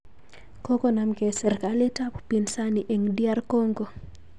Kokonomkei serkalit ak upinsani eng DR Congo